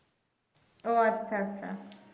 ও আচ্ছা আচ্ছা